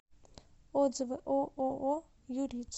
отзывы ооо юриц